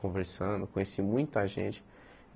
Conversando, conheci muita gente.